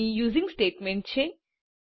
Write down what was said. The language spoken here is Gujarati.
અહીં યુઝિંગ સ્ટેટમેન્ટ છે